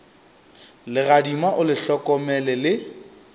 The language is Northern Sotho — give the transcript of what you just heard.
legadima o le hlokomele le